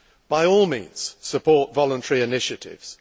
By all means support voluntary initiatives